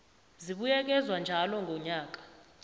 zibuyekezwa njalo ngonyaka